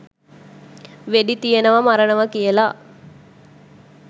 වෙඩි තියනෙවා මරනවා කියල.